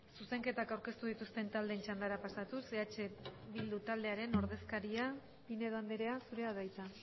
zuzenketak aurkeztu dituzten taldeen txandara pasatuz eh bildu taldearen ordezkaria pinedo andrea zurea da hitza